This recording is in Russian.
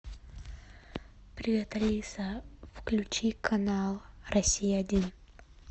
привет алиса включи канал россия один